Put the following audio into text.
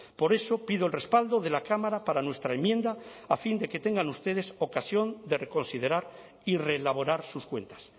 por eso pido el respaldo de la cámara para nuestra enmienda a fin de que tengan ustedes ocasión de reconsiderar y reelaborar sus cuentas